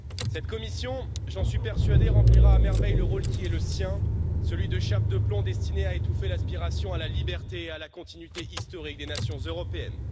Cette Commission, j'en suis persuadé, remplira à merveille le rôle qui est le sien, celui de chape de plomb destinée à étouffer l'aspiration à la liberté et à la continuité historique des nations européennes.